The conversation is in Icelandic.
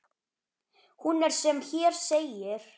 Hún er sem hér segir